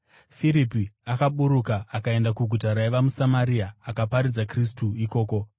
Firipi akaburuka akaenda kuguta raiva muSamaria akaparidza Kristu ikoko.